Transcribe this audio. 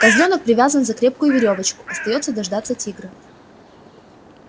козлёнок привязан за крепкую верёвочку остаётся дождаться тигра